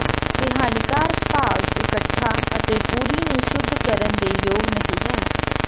ਇਹ ਹਾਨੀਕਾਰਕ ਭਾਗ ਇਕੱਠਾ ਅਤੇ ਪੂਰੀ ਨੂੰ ਸ਼ੁੱਧ ਕਰਨ ਦੇ ਯੋਗ ਨਹੀ ਹੈ